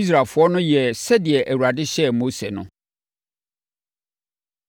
Israelfoɔ no yɛɛ sɛdeɛ Awurade hyɛɛ Mose no.